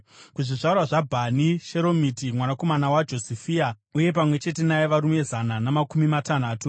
kuzvizvarwa zvaBhani, Sheromiti mwanakomana waJosifia, uye pamwe chete naye varume zana namakumi matanhatu;